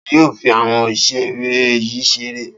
Ta ni yóò fi àwọn ìṣeré yìí ṣeré?